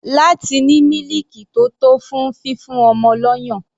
Láti ní mílìkì tó tó fún fífún ọmọ lọ́yàn.